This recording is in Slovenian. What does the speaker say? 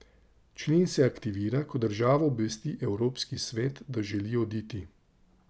Člen se aktivira, ko država obvesti Evropski svet, da želi oditi.